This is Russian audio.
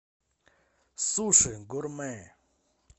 суши гурмэ